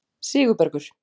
Sigurbergur